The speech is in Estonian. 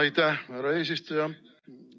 Aitäh, härra eesistuja!